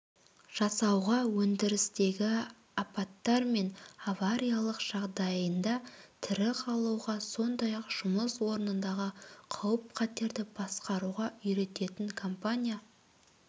жасауға өндірістегі апаттар мен авариялық жағдайында тірі қалуға сондай-ақ жұмыс орнындағы қауіп-қатерді басқаруға үйрететін компания